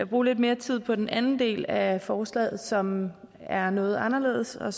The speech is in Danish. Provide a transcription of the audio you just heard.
bruge lidt mere tid på den anden del af forslaget som er noget anderledes og